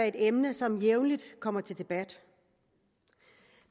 et emne som jævnligt kommer til debat